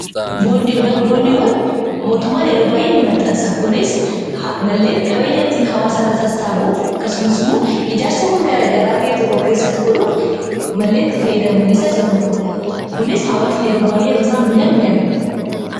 Boondiiwwan mootummaan yeroo baay'ee ni maxansa kunis malleen qabeenyattiin hawaasarra sastaabuuf akkasumas immoo ijaarsawwan gara garaa biyya tokko keessatti godhuuf malleen itti fayyadamu keessa isa tokkoodha. Kunis hawaasan yeroo baay'ee yeroo isaan bitan in argina.